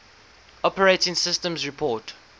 operating systems report